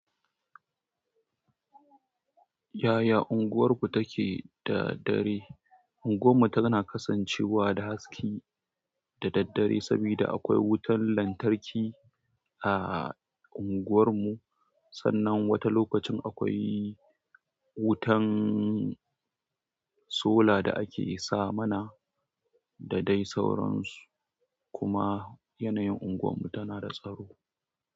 Yaya unguwarku take da dare? Unguwa mu tana kasancewa da haske da daddare sabida akwai wuta lantarki a unguwar mu, sannan wata lokacin akwai wutan sola da ake sa mana, da dai sauran su kuma yanayin unguwan mu tana da tsaro.